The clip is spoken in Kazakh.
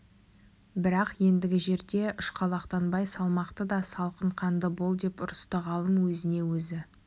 бірақ ендігі жерде ұшқалақтанбай салмақты да салқын қанды бол деп ұрысты ғалым өзіне өзі